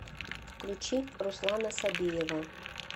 включи руслана собиева